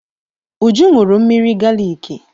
Uju ṅụrụ mmiri galiki.